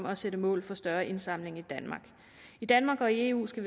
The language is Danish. at sætte mål for større indsamling i danmark i danmark og i eu skal